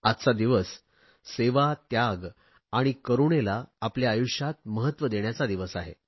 आजचा दिवस सेवा त्याग आणि करूणेला आपल्या आयुष्यात महत्व देण्याचा दिवस आहे